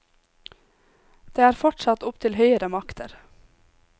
Det er fortsatt opp til høyere makter.